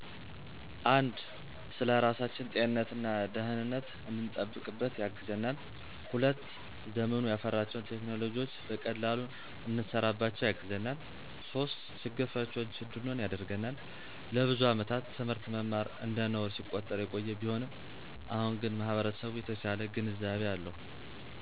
፩) ስለራሳችን ጤንነት እና ደህነት እንድንጠብቅበት ያግዘናል። ፪) ዘመኑ ያፈራቸውን ቴክኖሎጅዎች በቀላሉ እንሰራባቸው ያግዘናል። ፫) ችግር ፈችዎች እንድንሆን ያደርግናል። ለብዙ አመታት ት/ት መማር እንደነውር ሲቆጠር የቆየ ቢሆንም አሁን ግን ማህበረሰቡ የተሻለ ግንዛቤ አለው።